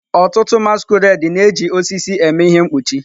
Ọtụtụ masquerade na-eji osisi eme ihe mkpuchi.